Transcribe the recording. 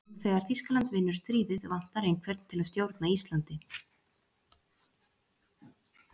Jú, þegar Þýskaland vinnur stríðið vantar einhvern til að stjórna Íslandi.